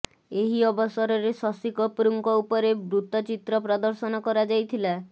ଏହି ଅବସରରେ ଶଶି କପୁରଙ୍କ ଉପରେ ବୃତ୍ତଚିତ୍ର ପ୍ରଦର୍ଶନ କରାଯାଇଥିଲା